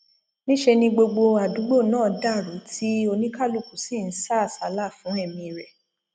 níṣẹ ni gbogbo àdúgbò náà dàrú tí oníkálùkù sì ń sá àsálà fún ẹmí rẹ